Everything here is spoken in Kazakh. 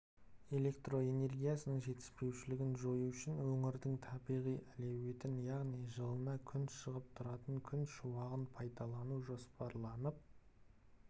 электроэнергиясының жетіспеушілігін жою үшін өңірдің табиғи әлеуетін яғни жылына күн шығып тұратын күн шуағын пайдалану жоспарланып